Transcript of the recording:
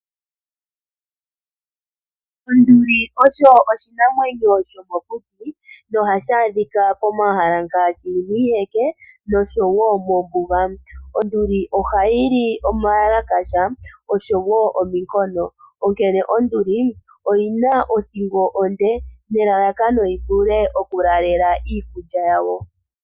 Onduli osho oshinamwenyo shomokuti, nohashi adhika komahala ngaashi giiheke, noshowo moombuga. Onduli ohayi li omayalakasha, noshowo ominkono. Onduli oyi na othingo onde, nelalakano yi vule okulaalela iikulya yayo.